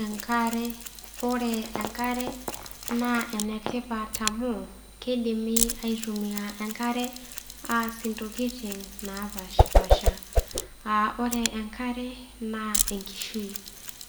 Enkare. Oore enkare naa enetipat amuu, keidimi ataasishore enkare aasie intokiting napaashipaasha. Aah oore enkare naa enkishui.